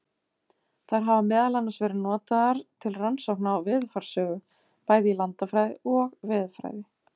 Þær hafa meðal annars verið notaðar til rannsókna á veðurfarssögu, bæði í landafræði og veðurfræði.